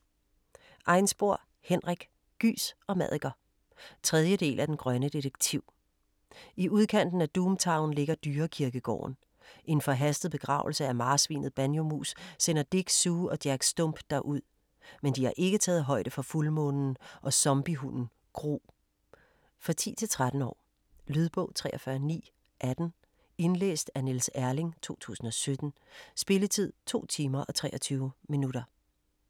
Einspor, Henrik: Gys og maddiker 3. del af Den grønne detektiv. I udkanten af Doom Town ligger dyrekirkegården. En forhastet begravelse af marsvinet Banjomus sender Dick, Sue og Jack Stump derud - men de har ikke taget højde for fuldmånen og Zombiehunden Gru. For 10-13 år. Lydbog 43918 Indlæst af Niels Erling, 2017. Spilletid: 2 timer, 23 minutter.